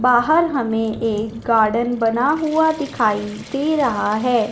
बाहर हमें एक गार्डन बना हुआ दिखाई दे रहा है।